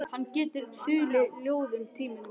Hann getur þulið ljóð tímunum saman.